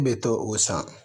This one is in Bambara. I bɛ to o san